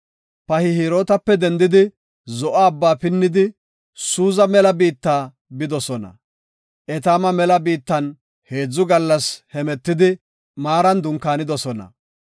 Pihahirootape dendidi, Zo7o Abbaa pinnidi, Suuza mela biitta bidosona. Etaama mela biittan heedzu gallas hemetidi Maaran dunkaanidosona.